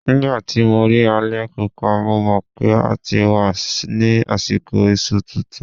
Nígbà tí mo rí alẹ̀-Pupa, mo mọ̀ PÉ a ti wà ní àsìkò iṣu tuntun.